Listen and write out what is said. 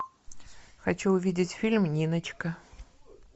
хочу увидеть фильм ниночка